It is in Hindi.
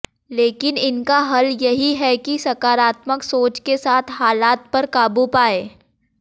लेकिन इनका हल यही है कि सकारात्मक सोच के साथ हालात पर काबू पायें